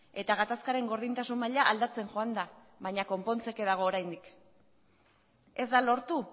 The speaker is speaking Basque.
eta gatazkaren gordintasun maila aldatzen joan da baina konpontzeke dago oraindik ez da lortu